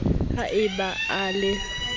ha e ba a le